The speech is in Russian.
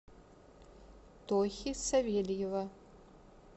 тохи савельева